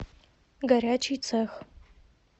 горячий цех